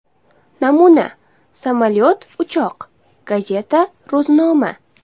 Namuna: samolyot uchoq, gazeta ro‘znoma.